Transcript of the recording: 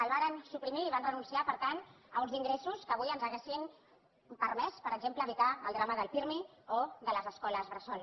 el varen suprimir i van renunciar per tant a uns ingressos que avui ens haurien permès per exemple evitar el drama del pirmi o de les escoles bressol